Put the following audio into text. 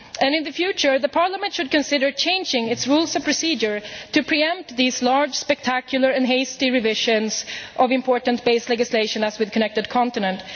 In future Parliament should consider changing its rules of procedure to pre empt these large, spectacular and hasty revisions of important base legislation, as with Connected Continent.